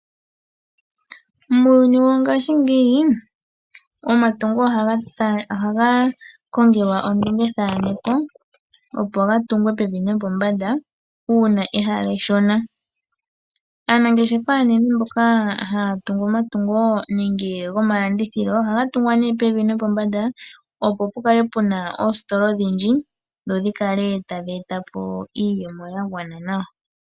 Muuyuni wongashingeyi omatungo ohaga kongelwa ondungethaneko, opo ga tungwe pevi nopombanda uuna ehala eshona. Aanangeshefa aanene mboka haya tungu omatungo gomalandithilo ohaga tungwa nduno pevi nopombanda, opo pu kale pu na oositola odhindji dho dhi kale tadhi eta po iiyemo ya gwana nawa.